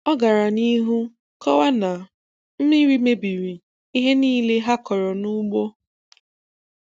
Ọ gara n'ihu kọwaa na mmiri mebiri ihe niile ha kọrọ n'ugbo.